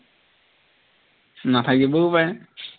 নাথাকিবও পাৰে